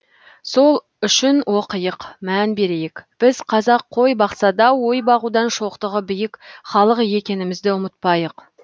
сол үшін оқиық мән берейік біз қазақ қой бақса да ой бағудан шоқтығы биік халық екенімізді ұмытпайық